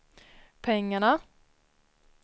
pengarna